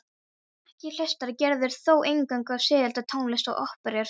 Ekki hlustar Gerður þó eingöngu á sígilda tónlist og óperur.